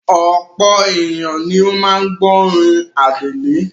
Ọ̀pọ̀ ènìyàn ni ó ń gbọ́rin Adele.